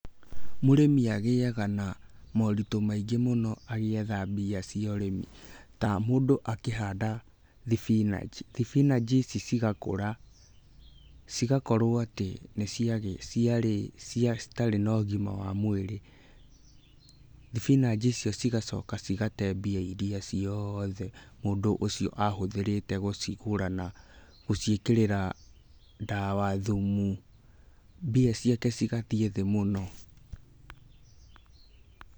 Mũrĩmi agĩaga na moritũ maingĩ mũno agĩetha mbia cia ũrĩmi, ta mũndũ akĩhanda thibinanji, thibinanji ici cigakũra, cigakorwo atĩ nĩ ciarĩ, citirĩ na ũgima wa mwĩrĩ. Thibinanji icio cigacoka cigate mbia iria ciothe mũndũ ũcio ahũthĩrĩte gũcigũra na gũciĩkĩrĩra ndawa, thumu, mbia ciake cigathiĩ thĩ mũno.